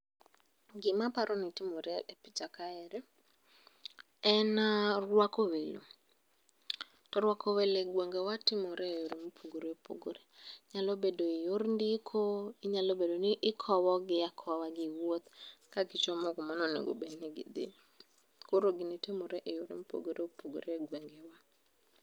Gima aparo ni timore e picha kaeri en rwako welo, to rwako welo e gwengewa itimo e yore mopogore opogore ,nyalo bedo e yor ndiko, inyalo bedo ni ikowogi akowa gi wuoth kagichomo kuma ne onego obed ni gidhi koro gini timore e yore ma opogore opogore e gwengewa